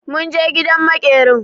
Mun je gidan maƙerin.